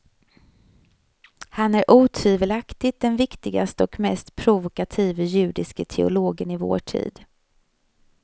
Han är otvivelaktigt den viktigaste och mest provokative judiske teologen i vår tid.